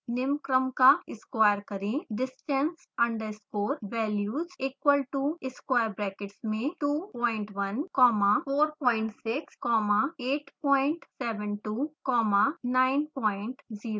निम्न क्रम का square करें distance underscore values equal to within square brackets 21 comma 46 comma 872 comma 903